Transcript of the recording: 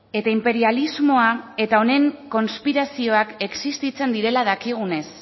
eta inperialismoa eta honen konspirazioak existitzen direla dakigunez